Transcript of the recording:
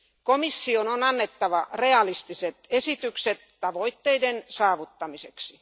Komission on annettava realistiset esitykset tavoitteiden saavuttamiseksi.